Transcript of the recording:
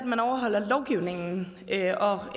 herre